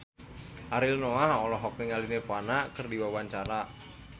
Ariel Noah olohok ningali Nirvana keur diwawancara